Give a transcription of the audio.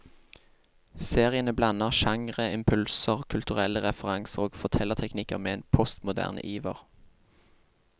Seriene blander genreimpulser, kulturelle referanser og fortellerteknikker med en postmoderne iver.